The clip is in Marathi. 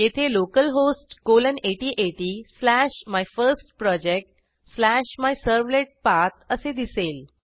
येथे localhost colon 8080 slash my first project slash my servlet path असे दिसेल